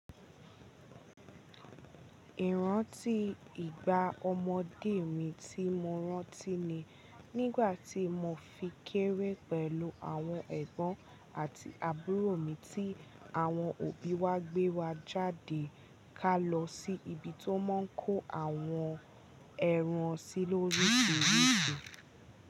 Ìrántí ìgbà ọmọdé mi tí mo rántí ni nígbà tí mo fi kéré pẹ̀lú àwọn ẹ̀gbọ́n àti àbúrò mi tí àwọn òbí wa gbé wa jáde ká lọ sí ibi tiwon máa ń kó àwọn ẹran sí lórísirisi.